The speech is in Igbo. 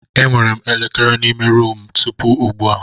Enwere m elekere n'ime ruumu a tupu ugbu a.